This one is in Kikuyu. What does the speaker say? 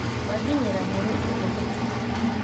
Wanginyĩra mũri ũguo nĩkĩ